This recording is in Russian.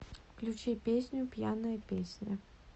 включи песню пьяная песня